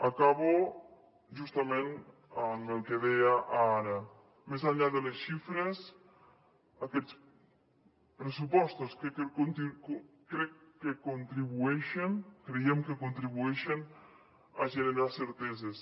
acabo justament amb el que deia ara més enllà de les xifres aquests pressupostos creiem que contribueixen a generar certeses